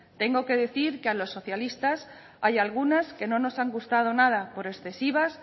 tengo que decir que a los socialistas hay algunas que no nos ha gustado nada por excesivas